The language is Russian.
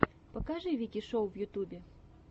покажи вики шоу в ютубе